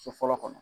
So fɔlɔ kɔnɔ